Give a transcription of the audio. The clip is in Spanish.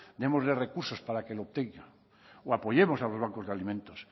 démosle recursos para que lo obtenga o apoyemos a los bancos de alimentos